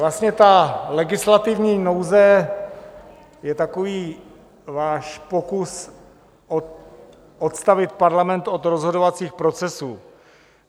Vlastně ta legislativní nouze je takový váš pokus odstavit Parlament od rozhodovacích procesů.